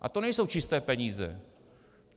A to nejsou čisté peníze.